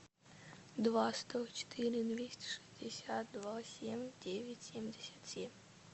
два сто четыре двести шестьдесят два семь девять семьдесят семь